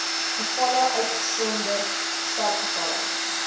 gevalle uitgesonderd sterfgevalle